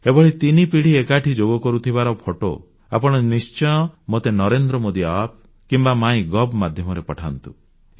ଏଭଳି ତିନିପିଢ଼ି ଏକାଠି ଯୋଗ କରୁଥିବାର ଫଟୋ ଆପଣ ନିଶ୍ଚୟ ମୋତେ NarendraModiApp କିମ୍ବା ମାଇଗଭ୍ ମାଧ୍ୟମରେ ପଠାନ୍ତୁ